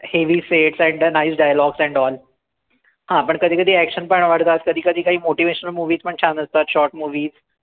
heavy fade and the nice dialogues and all हा पण कधी कधी action पण आवडतात, कधी कधी काही motivational movies पण छान असतात short movie